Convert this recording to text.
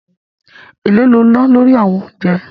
Èló ni o ná lórí àwọn oúnjẹ?